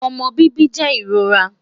omọ bibi jẹ irora